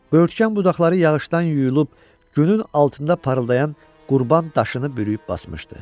Böyürtkən budaqları yağışdan yuyulub günün altında parıldayan qurban daşını bürüyüb basmışdı.